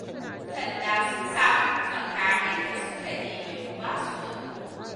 Yan sanda sun samu mu faka, inda suka nemi mu ba su na goro.